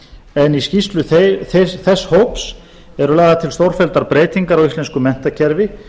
en í skýrslu þess hóps eru lagðar til stórfelldar breytingar á íslensku menntakerfi